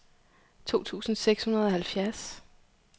to tusind seks hundrede og halvfjerds